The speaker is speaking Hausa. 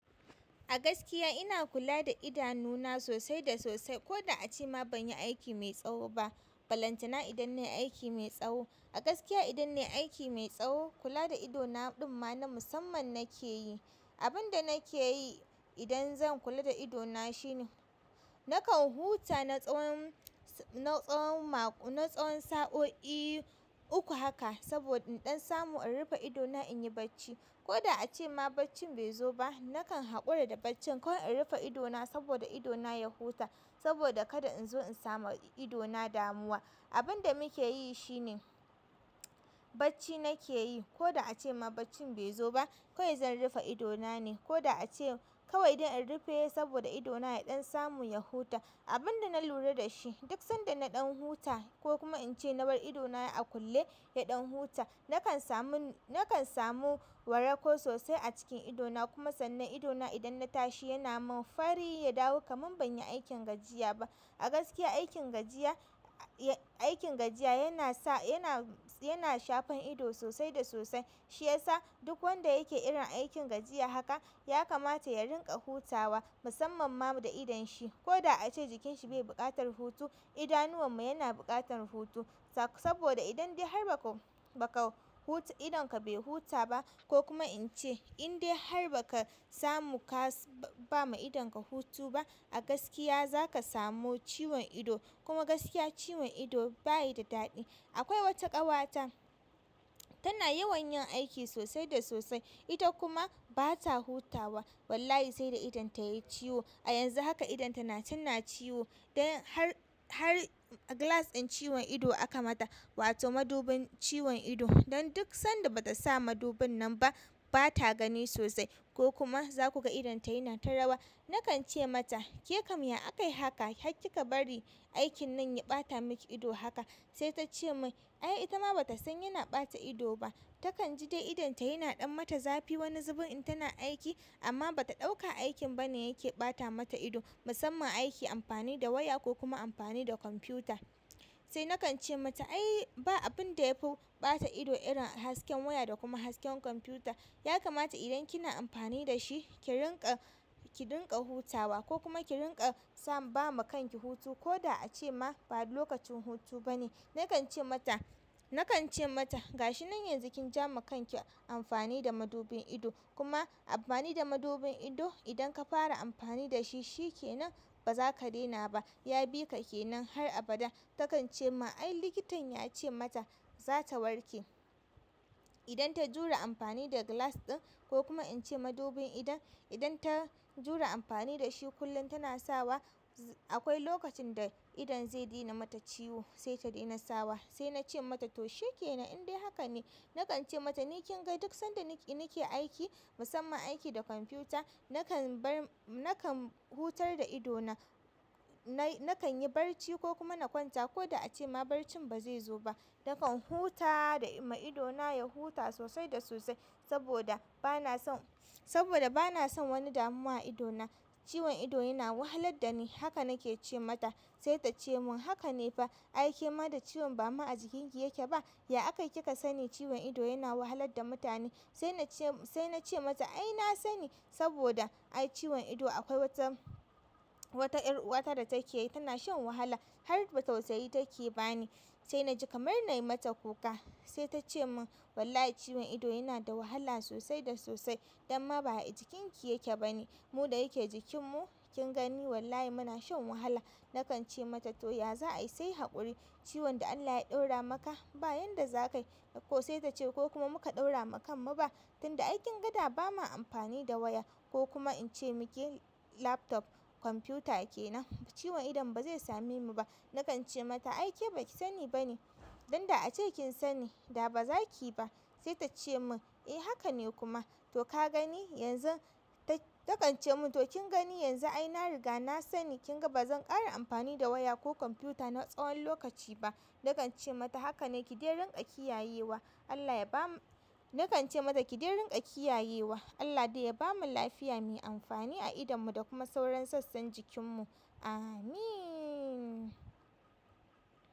A gaskiya ina kula da idanuna sosai da sosai. Ko da a ce ma ban yi aiki mai tsawo ba, balantana idan nai aiki mai tsawo. A gaskiya idan nai aiki mai tsawo. Kula da ido na ɗimma na musamman nake yi. Abin da nake yi idan zan kula da ido na shine nakan huta na tsawon, na tsawon, na tsawon sa'o'i uku haka saboda in ɗan samu in rufe ido na in yi barci. Ko da a ce ma barcin bai zo ba, nakan haƙura da barcin kawai in rufe ido na saboda ido na ya huta saboda kada in zo in sama ido na damuwa. Abun da muke yi shine barci nake yi. Ko da a ce ma barcin bai zo ba, kawai zan rufe ido na ne. Ko da a ce kawai idan in rufe saboda ido na ya ɗan samu ya huta. Abun da na lura da shi duk sanda na ɗan huta ko kuma in ce na bar ido na a kulle ya ɗan huta, nakan samu, nakan samu warako sosai a cikin ido na kuma sannan ido na idan na tashi yana mun fari ya dawo kaman ban yi aikin gajiya ba. A gaskiya aikin gajiya, aikin gajiya yana sa, yana, yana shafan ido sosai da sosai. Shi yasa duk wanda yake irin aikin gajiya haka ya kamata ya rinƙa hutawa musamman ma da idon shi. Ko da a ce jikin shi bai buƙatar hutu, idanuwan mu yana buƙatar hutu sak saboda idan dai har ba ka, ba ka huta idon ka bai huta ba ko kuma in ce in dai har ba ka samu ka ba ma idon ka hutu ba, a gaskiya za ka samu ciwon ido. Kuma gaskiya ciwon ido ba yi da daɗi. Akwai wata ƙawata tana yawan yin aiki sosai da sosai. Ita kuma ba ta hutawa. Wallahi sai da idon ta yai ciwo. A yanzu haka idon ta na can na ciwo. Don har, har glass ɗin ciwon ido aka mata wato madubin ciwon ido. Don duk sanda ba ta sa madubin nan ba, ba ta gani sosai ko kuma za ku ga idon ta yana ta rawa. Nakan ce mata kekam ya akai haka har kika bari aikin nan ya ɓata maki ido sai ta ce mun ai ita ma ba ta san yana ɓata ido ba. Takan ji dai idon ta yana ɗan mata zafi wani zubun in tana aiki amma ba ta ɗauka aikin ba ne yake ɓata mata ido. Musamman aiki amfani da waya ko kuma amfani da kwamfiyuta. Sai nakan ce mata ai ba abun da ya fi ɓata ido irin hasken waya da kuma hasken kwamfiyuta. Ya kamata idan kina amfani da shi ki rinƙa, ki rinƙa hutawa ko kuma ki rinƙa sa ba ma kan ki hutu ko da a ce ma ba lokacin hutu ba ne. Nakan ce mata, nakan ce mata gashi nan yanzu kin jama kanki amfani da madubin ido. Kuma amfani da madubin ido idan ka fara amfani da shi, shi ke nan ba za ka daina ba. Ya bi ka ke nan har abada. Takan ce ma ai likitan ya ce mata za ta warke idan ta jura amfani da glass ɗin ko kuma in ce madubin idon. Idan ta jure amfani dashi kullum tana sawa za akwai lokacin da idon zai daina mata ciwo sai ta dena sawa sai na ce mata to shi ke nan in dai haka ne. Nakan ce mata ni kin ga duk sanda nake, nake aiki musamman aiki da kwamfuta nakan bar, nakan hutar da ido na. Na, nakan yi barci ko kuma na kwanta ko da a ce ma barcin ba zai zo ba. Nakan huta da ma ido na ya huta sosai da sosai saboda ba na son, saboda ba na son wani damuwa a ido na. Ciwon ido yana wahalar da ni. Haka nake ce mata. Sai ta ce mun haka ne fa. Ai ke ma da ciwon ba ma a jikin ki yake ba? Ya akai ki ka sani ciwon ido yana wahalar da mutane? Sai na ce, sai na ce mata ai na sani saboda ai ciwon ido akwai wata, wata ƴar uwata da take yi tana shan wahala har ba tausayi take ba ni sai na ji kamar na yi mata kuka. Sai ta ce mun wallahi ciwon ido yana da wahala sosai da sosai. Don ma ba a jikin ki yake ba ne. Mu da yake jikin mu kin gani wallahi muna shan wahala. Nakan ce mata to ya za ayi sai haƙuri. Ciwon da Allah ya ɗaura maka ba yanda za ka yi. Ko sai ta ce ko kuma muka ɗaura wa kan mu ba. Tunda ai kinga da ba ma amfani da waya ko kuma in ce miki laptop, kwamfiyuta ke nan. Ciwon idon ba zai sami mu ba. Nakan ce mata ai ke baki sani bane. Dan da a ce kin sani da ba za ki ba. Sai ta ce mun eh haka ne kuma. To ka gani yanzu. Ta, ta kan ce mun to kin gani yanzu ai na riga na sani kin ga ba zan ƙara amfani da waya ko kwamfuta na tsawon lokaci ba. Nakan ce mata haka ne ki dai rinƙa kiyayewa. Allah ya ba mu-- nakan ce mata ki dai rinƙa kiyayewa. Allah dai ya bamu lafiya mai amfani a idon mu da kuma sauran sassan jikin mu. Amin.